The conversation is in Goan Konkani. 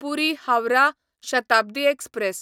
पुरी हावराह शताब्दी एक्सप्रॅस